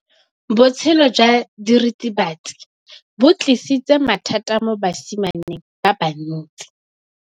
Botshelo jwa diritibatsi ke bo tlisitse mathata mo basimaneng ba bantsi.